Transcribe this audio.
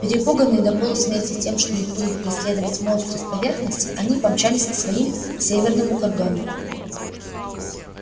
перепуганные до полусмерти тем что их будут преследовать монстры с поверхности они помчались к своим к северному кордону